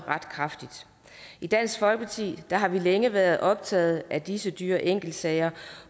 ret kraftigt i dansk folkeparti har vi længe været optaget af disse dyre enkeltsager